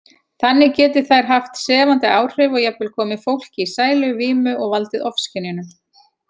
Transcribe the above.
Þannig geti þær haft sefandi áhrif og jafnvel komið fólki í sæluvímu og valdið ofskynjunum.